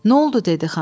Nə oldu dedi xan?